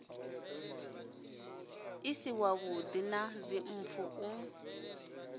si wavhuḓi na dzimpfu u